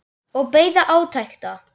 Og beið átekta.